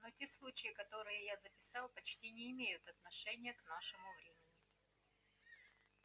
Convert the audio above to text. но те случаи которые я записал почти не имеют отношения к нашему времени